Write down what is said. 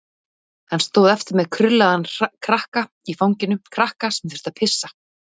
Hann stóð eftir með krullaðan krakka í fanginu, krakka sem þurfti að pissa.